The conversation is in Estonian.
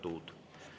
17.